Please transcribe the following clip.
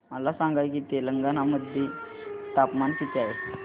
मला सांगा की तेलंगाणा मध्ये तापमान किती आहे